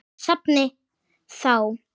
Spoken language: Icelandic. Úr safni ÞÁ.